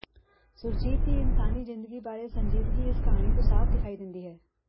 ਸੁਰਜੀਤ ਦੀ ਇਨਸਾਨੀ ਜ਼ਿੰਦਗੀ ਬਾਰੇ ਸੰਜੀਦਗੀ ਇਸ ਕਹਾਣੀ ਤੋਂ ਸਾਫ ਵਿਖਾਈ ਦਿੰਦੀ ਹੈ